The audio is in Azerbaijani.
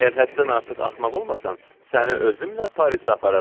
əgər həddən artıq axmaq olmasan, səni özümlə Parisə apararam.